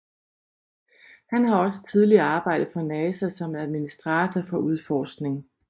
Han har også tidligere arbejdet for NASA som administator for udforskning